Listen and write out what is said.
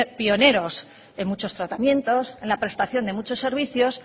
pioneros en muchos tratamientos en la prestación de muchos servicios